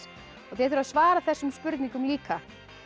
þið þurfið að svara þessum spurningum líka